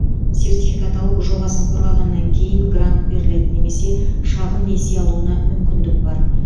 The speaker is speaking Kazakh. сертификат алып жобасын қорғағаннан кейін грант беріледі немесе шағын несие алуына мүмкіндік бар